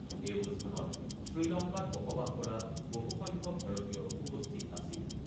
এই অনুষ্ঠানত শ্ৰীলংকাত বসবাস কৰা বহুসংখ্যক ভাৰতীয় উপস্থিত আছিল।